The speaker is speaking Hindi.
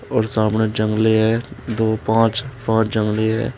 और सामने जंगले हैं दो पांच पांच जंगले हैं।